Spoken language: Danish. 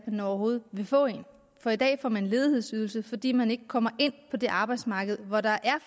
man overhovedet vil få en for i dag får man ledighedsydelse fordi man ikke kommer ind på det arbejdsmarked hvor der er